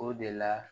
O de la